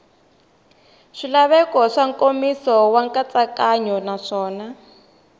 swilaveko swa nkomiso nkatsakanyo naswona